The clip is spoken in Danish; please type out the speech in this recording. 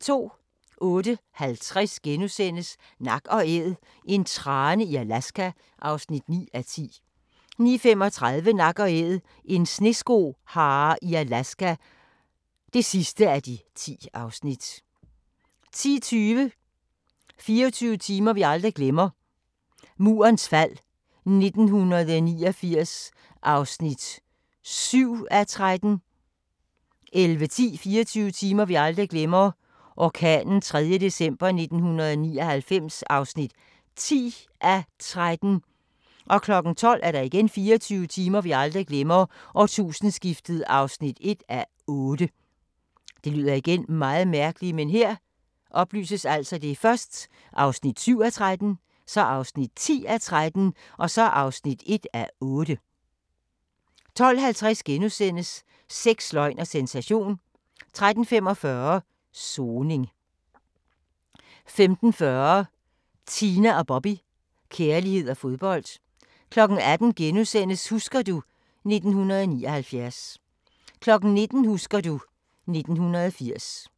08:50: Nak & Æd – en trane i Alaska (9:10)* 09:35: Nak & Æd – en sneskohare i Alaska (10:10)* 10:20: 24 timer vi aldrig glemmer: Murens fald 1989 (7:13) 11:10: 24 timer vi aldrig glemmer: Orkanen 3. december 1999 (10:13) 12:00: 24 timer vi aldrig glemmer: Årtusindeskiftet (1:8) 12:50: Sex, løgn og sensation * 13:45: Soning 15:40: Tina & Bobby – kærlighed og fodbold 18:00: Husker du ... 1979 * 19:00: Husker du ... 1980